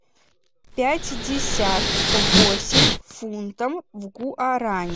пятьдесят восемь фунтов в гуарани